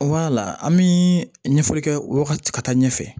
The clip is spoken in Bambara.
an bi ɲɛfɔli kɛ o yɔrɔ ka ca ka taa ɲɛfɛ